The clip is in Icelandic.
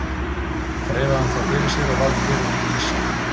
Þreifaði hann þá fyrir sér og varð fyrir honum ýsa.